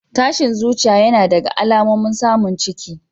Tashin zuciya yana daga alamomin samun ciki.